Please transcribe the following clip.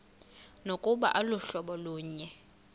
nokuba aluhlobo lunye